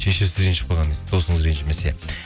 шешесі ренжіп қалған несі досыңыз ренжімесе